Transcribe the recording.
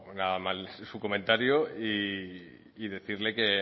nada mal su comentario y decirle que